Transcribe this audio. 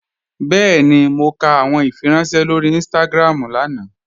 Bẹ́ẹ̀ni, mọ̀ kà awọn ìfírànṣẹ̀ lórí Instagram lánà.